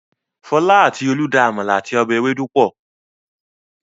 Fọl àti Olú da àmàlà àti ọbẹ̀ ewédú pọ̀.